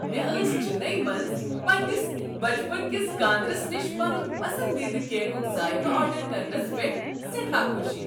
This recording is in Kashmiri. مےٚ ٲس چنئی منٛز پننس بچپنکِس کاندرِس نِش پنن پسندیدٕ کیکک ذائقہ آرڈر کرنس پیٹھ سیٹھاہ خوشی۔